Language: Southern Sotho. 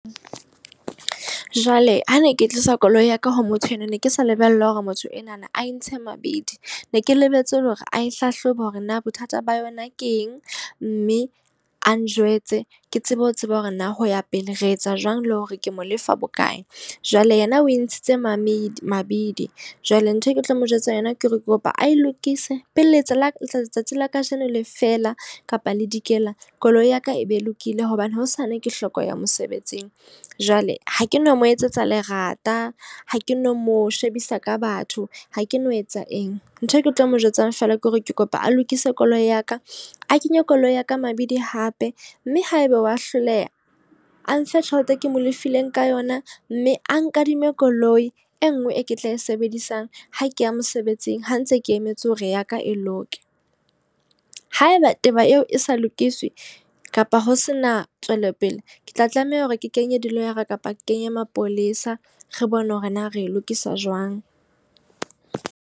Jwale ha ne ke tlisa koloi ya ka ho motho enwa, ne ke sa lebella hore motho enwana a e ntshe mabidi. Ne ke lebetse ele hore ae hlahlobe hore na bothata ba yona ke eng mme a njwetse ke tsebe ho tseba hore na hoya pele re etsa jwang, le hore ke mo lefa bokae. Jwale yena o e ntshitse mabini mabidi. Jwale nthwe ke tlo mo jwetsa yona ke hore kopa ae lokise pele la ka letsatsi la kajeno le fela kapa le dikela koloi ya ka e be lokile hobane hosane ke hloko ya mosebetsing. Jwale ha ke no mo etsetsa lerata, ha ke no mo shebisa ka batho, ha ke no etsa eng. Ntho e ke tlo mo jwetsang feela ke hore ke kopa a lokise koloi ya ka, a kenye koloi ya ka mabidi hape. Mme haebe wa hloleha, a nfe tjhelete e ke mo lefile ka yona. Mme a nkadime koloi e nngwe e ke tla e sebedisang ha ke ya mosebetsing ha ntse ke emetse hore ya ka e loke. Haeba taba eo e sa lokiswe kapa ho se na tswelopele. Ke tla tlameha hore ke kenye diloyara kapa kenye mapolesa. Re bone hore na re lokisa jwang.